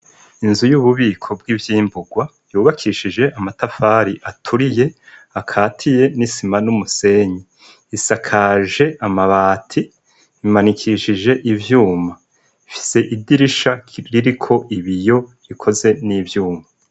Inzu y'ububiko bw'ivyimbugwa yubakishije amatafari aturiye akatiye n'isima n'umusenyi isakaje amabati imanikishije ivyuma fise idirisha ririko ibiyo rikoze n'ivyuma.